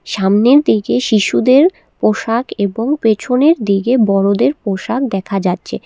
সামনের দিকে শিশুদের পোশাক এবং পেছনের দিকে বড়দের পোশাক দেখা যাচ্ছে।